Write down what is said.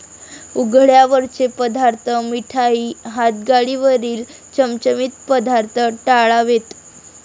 उघड्यावरचे पदार्थ, मिठाई, हातगाडीवरील चमचमीत पदार्थ टाळावेत.